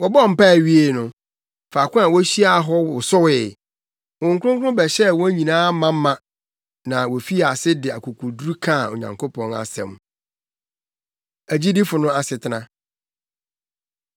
Wɔbɔɔ mpae wiee no, faako a wohyiaa hɔ wosowee. Honhom Kronkron bɛhyɛɛ wɔn nyinaa ma ma na wofii ase de akokoduru kaa Onyankopɔn asɛm. Agyidifo No Asetena